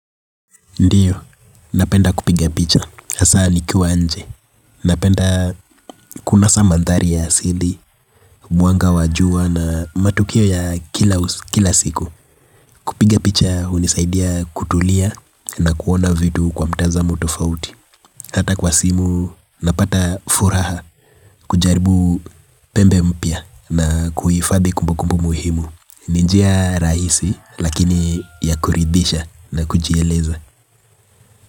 Ndiyo, napenda kupiga picha, hasa nikiwa nje, napenda kuna sa mandhari ya asidi, mwanga wa jua na matukio ya kila siku, kupiga picha hunisaidia kutulia na kuona vitu kwa mtazamo tofauti, hata kwa simu, napata furaha. Kujaribu pembe mpya na kuhifadhi kumbukumbu muhimu, ni njia rahisi lakini ya kuridhisha na kujieleza.